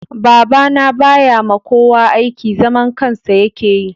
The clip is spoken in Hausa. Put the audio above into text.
Baba na ba ya ma kowa aiki. Zaman kansa ya ke yi